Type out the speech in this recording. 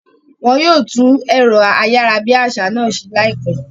Wọn yóò tún ẹ̀rọ ayárabíàṣá náà ṣe láìpẹ́